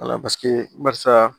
barisa